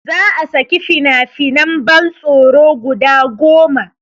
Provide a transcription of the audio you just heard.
Za a saki fina finan ban tsoro guda goma